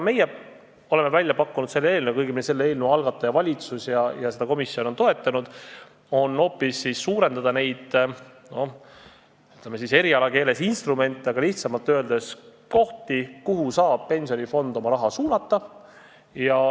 Meie oleme välja pakkunud selle eelnõuga – õigemini eelnõu algataja on valitsus ja komisjon on toetanud – seda, et tuleks hoopis suurendada neid erialakeeles öelduna instrumente, aga lihtsamalt väljendudes kohti, kuhu saab pensionifond oma raha suunata.